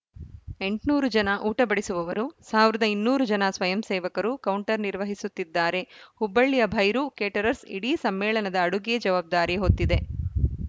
ಎಂಟುನೂರು ಜನ ಊಟ ಬಡಿಸುವವರು ಸಾವಿರದ ಇನ್ನೂರು ಜನ ಸ್ವಯಂ ಸೇವಕರು ಕೌಂಟರ್‌ ನಿರ್ವಹಿಸುತ್ತಿದ್ದಾರೆ ಹುಬ್ಬಳ್ಳಿಯ ಭೈರು ಕೇಟರರ್‍ಸ್ ಇಡೀ ಸಮ್ಮೇಳನದ ಅಡುಗೆ ಜವಾಬ್ದಾರಿ ಹೊತ್ತಿದೆ